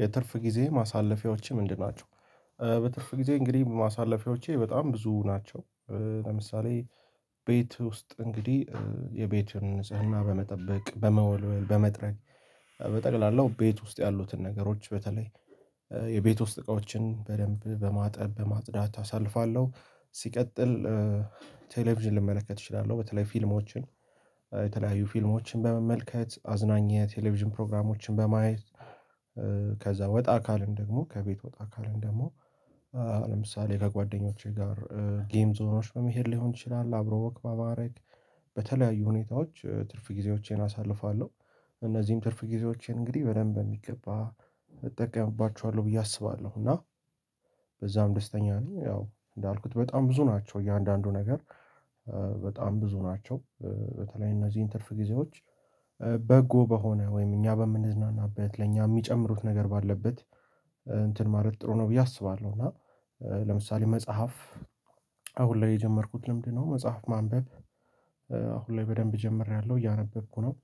የትርፍ ጊዜ ማሳለፊያዎችህ ምንድናቸው? በትርፍ ጊዜ እንግዲህ ማሳለፊያዎቼ በጣም ብዙ ናቸው። ለምሳሌ ቤት ውስጥ እንግዲህ የቤትን ንጽህና በመጠበቅ በመወልበል በመጥረግ በጠቅላላው ቤት ውስጥ ያሉትን ነገሮች በተለይ የቤት ውስጥ እቃዎችን በደንብ በማጠብ በማፅዳት አሳልፋለሁ። ሲቀጥል ቴሌቪዥን ልመለከት እችላለሁ በተለይ ፊልሞችን የተለያዩ ፊልሞችን በመመልከት አዝናኝ የቴሌቪዥን ፕሮግራሞችን በማየት። ከዚያ ወጣ ካልን ደግሞ ከቤት ወጣ ካልን ደግሞ ለምሳሌ ከጓደኞቼ ጋር ጌም ዞኖች በመሄድ ሊሆን ይችላል አብሮ ወክ በማድረግ በተለያዩ ሁኔታዎች ትርፍ ጊዜዎቼን አሳልፋለሁ። እነዚህም ትርፍ ጊዜዎች እንግዲህ በደንብ በሚገባ እጠቀምበቸኋለሁ ብዬ አስባለሁ። እና በዚያም ደስተኛ ነኝ። ያው እንዳልኩት በጣም ብዙ ናቸው እያንዳንዱ ነገር በጣም ብዙ ናቸው። በተለይ እነዚህን ትርፍ ጊዜዎች በጎ በሆነ ወይም እኛ በምንዝናናበት ለእኛ የሚጨምሩት ነገር ባለበት እንትን ማለት ጥሩ ነው ብዬ አስባለሁ። እና ለምሳሌ መጽሐፍ አሁን ላይ የጀመርኩት ልምድ ነው መጽሐፍ ማንበብ አሁን ላይ በደንብ ጀምሬያለሁ እያነበብኩ ነው።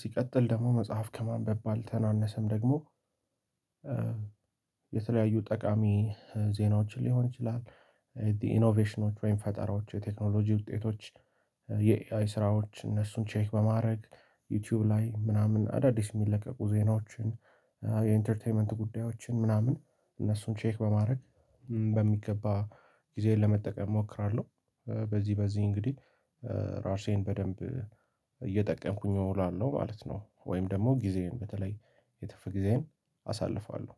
ሲቀጥል ደግሞ መጽሐፍ ከማንበብ ባልተናነሰም ደግሞ የተለያዩ ጠቃሚ ዜናዎችን ሊሆን ይችላል ኢኖቬሽኖች ወይም ፈጠራዎች የቴክኖሎጂ ውጤቶች የስራዎች ስራዎች እነሱን ቼክ በማድረግ ዩቲዩብ ላይ ምናምን አዳዲስ የሚለቀቁ ዜናዎችን የኢንተርቴይመንት ጉዳዮችን ምናምን እነሱን ቼክ በማድረግ በሚገባ ጊዜን ለመጠቀም እሞክራለሁ። በዚህ በዚህ እንግዲህ ራሴን በደንብ እየጠቀምኩኝ እውላለው ማለት ነው። ወይም ደግሞ ጊዜዬን በተለይ የትርፍ ጊዜዬን አሳልፋለሁ